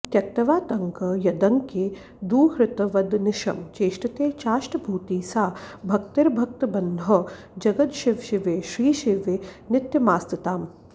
त्यक्त्वातङ्कं यदङ्के दुहितृवदनिशं चेष्टते चाष्टभूतिः सा भक्तिर्भक्तबन्धौ जगदशिवशिवे श्रीशिवे नित्यमास्ताम्